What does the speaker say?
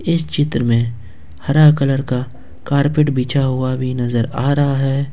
इस चित्र में हरा कलर का कारपेट बिछा हुआ भी नजर आ रहा है।